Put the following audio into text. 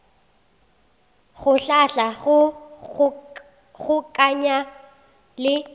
go hlahla go kgokaganya le